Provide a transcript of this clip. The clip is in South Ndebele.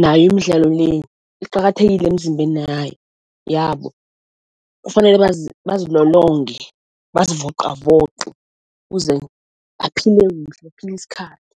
nayo imidlalo le iqakathekile emzimbeni yayo yabo. Kufanele bazilolonge, bazivoqavoqe ukuze baphile kuhle, baphile isikhathi.